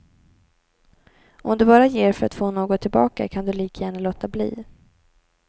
Om du bara ger för att få något tillbaka, kan du lika gärna låta bli.